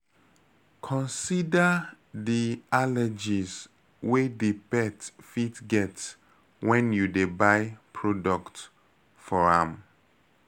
Consider di allergies wey di pet fit get when you dey buy product for am